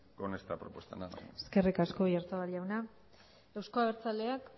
con esta propuesta nada más muchas gracias eskerrik asko oyarzabal jauna euzko abertzaleak